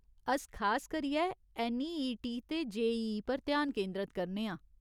अस खास करियै ऐन्नईईटी ते जेईई पर ध्यान केंदरत करने आं।